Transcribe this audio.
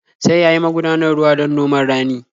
Sai ya yi magudanar ruwa don noman rani.